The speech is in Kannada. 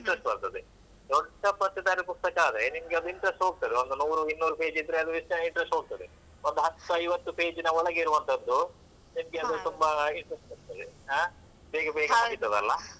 ಆಗ interest ಬರ್ತದೆ. ದೊಡ್ಡ ಪತ್ತೇದಾರಿ ಪುಸ್ತಕ ಆದ್ರೆ ನಿಮ್ಗೆ ಅದು interest ಹೋಗ್ತದೆ ಒಂದು ನೂರು ಇನ್ನೂರು page ಇದ್ರೆ, ಅದು interest ಹೋಗ್ತದೆ. ಒಂದು ಹತ್ತು ಐವತ್ತು page ನ ಒಳಗೆ ಇರುವಂತದ್ದು ನಿಮ್ಗೆ ಅದು ತುಂಬಾ interest ಬರ್ತದೆ. ಬೇಗ ಬೇಗ ಮುಗೀತದಲ್ಲಾ.